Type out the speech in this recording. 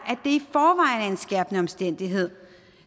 at en skærpende omstændighed